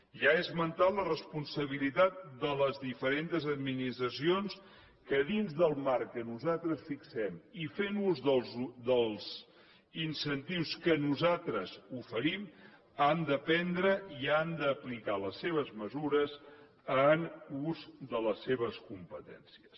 ja he esmentat la responsabilitat de les diferents administracions que dins del marc que nosaltres fixem i fent ús dels incentius que nosaltres oferim han de prendre i han d’aplicar les seves mesures en ús de les seves competències